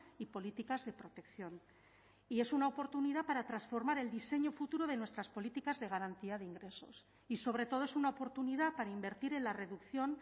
y políticas de protección y es una oportunidad para transformar el diseño futuro de nuestras políticas de garantía de ingresos y sobre todo es una oportunidad para invertir en la reducción